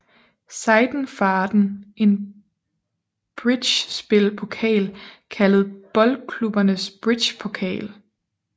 Seidenfaden en bridgespil pokal kaldet Boldklubbernes Bridgepokal